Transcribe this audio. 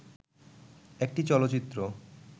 একটি চলচ্চিত্র